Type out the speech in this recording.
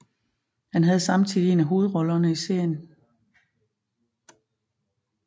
Han havde samtidig en af hovedrollerne i serien